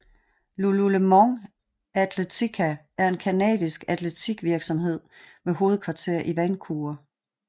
lululemon athletica er en canadisk atletiktøjsvirksomhed med hovedkvarter i Vancouver